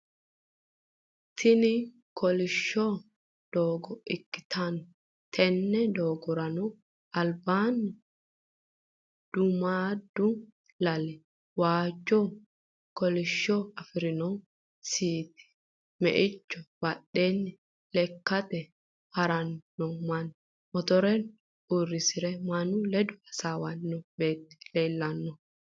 Tini kolishsho doogo ikkitanna tenne doogorano albanni duumaaddu lali, waajjonna kolishsho afirinno siiti, meicho badheenni lekkate haranni noo manni, motore uurrise mannu ledo hasawanni noo beetti leellanno.